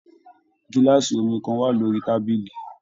Gilaasi omí kan wà lórí tábìlì.